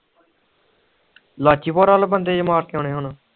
ਲਾਚੀ ਪੁਰ ਵਾਲ ਬੰਦੇ ਜੇ ਮਾਰ ਕੇ ਆਉਣੇ ਹੁਣ